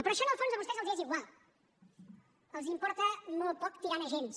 però això en el fons a vostès els és igual els importa molt poc tirant a gens